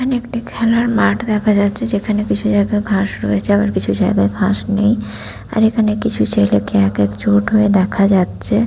এখানে একটা খেলার মাঠ দেখা যাচ্ছে যেখানে কিছু জায়গায় ঘাস রয়েছে আবার কিছু জায়গায় ঘাস নেই আর এখানে কিছু ছেলেকে এক এক জোট হয়ে দেখা যাচ্ছে।